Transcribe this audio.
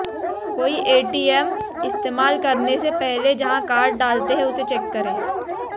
कोई एटीएम इस्तेमाल करने से पहले जहां कार्ड डालते हैं उसे चेक करें